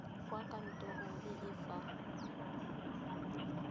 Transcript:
kwa kantorong e e fa